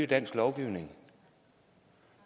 landets lovgivning